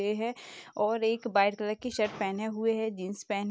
है और एक व्हाइट कलर की शर्ट पेहने हुए है जीन्स पहने --